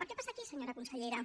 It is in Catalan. per què passa aquí senyora consellera